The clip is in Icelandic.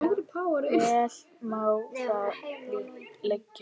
Vel má það liggja.